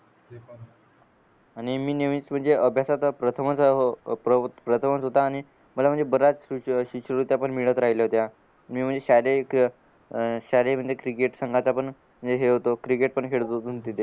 आणि मी नवीन अभ्यासाचा प्रथमच प्रथमच होता आणि मला म्हणजे बराच शीषुवृत्त्या पण मिळत राहिल्या होत्या मी म्हणजे शाळेक शालेय क्रिकेट संघाचा पण म्हणजे हे होतो क्रिकेट पण खेळत होतो